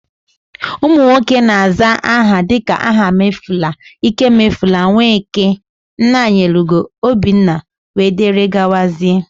ụmụnwoke na-aza aha dika Ahamefula, ikemefula, Nweke, Nnanyelugo, obinna wdg